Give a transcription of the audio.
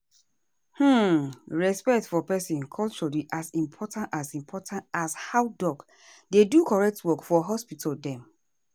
hmmm respect for peson culture dey as important as important as how doc dey do correct work for hospital dem.